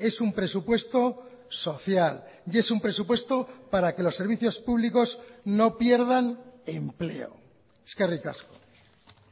es un presupuesto social y es un presupuesto para que los servicios públicos no pierdan empleo eskerrik asko